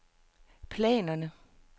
planerne